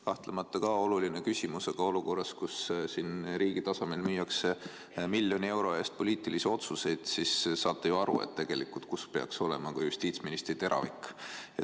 Kahtlemata on ka see oluline küsimus, aga olukorras, kus riigi tasemel müüakse miljoni euro eest poliitilisi otsuseid, saate ju aru, peaks tegelikult seal olema justiitsministri teravik.